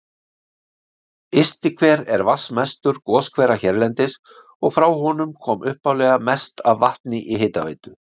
Ystihver er vatnsmestur goshvera hérlendis, og frá honum kom upphaflega mest af vatni í hitaveitu